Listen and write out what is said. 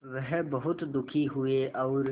वह बहुत दुखी हुए और